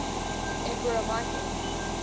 emperor michael